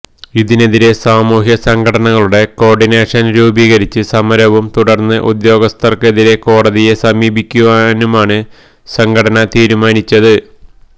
ഇതിനെതിരെ സാമൂഹ്യസംഘടനകളുടെ കോര്ഡിനേഷന് രൂപീകരിച്ച് സമരവും തുടര്ന്ന് ഉദ്യോഗസ്ഥര്ക്കെതിരെ കോടതിയെ സമീപിക്കുവാനുമാണ് സംഘടന തീരുമാനിച്ചത്